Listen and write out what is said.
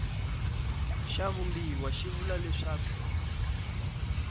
xa vumbiwa xi vula leswaku